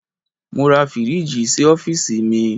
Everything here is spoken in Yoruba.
Mo ra fíríjì sí ọ́fíìsì mi.